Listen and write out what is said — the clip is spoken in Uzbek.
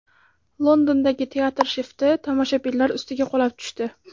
Londondagi teatr shifti tomoshabinlar ustiga qulab tushdi.